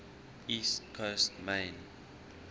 east coast maine